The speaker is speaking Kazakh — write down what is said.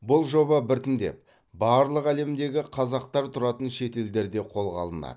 бұл жоба біртіндеп барлық әлемдегі қазақтар тұратын шетелдерде қолға алынады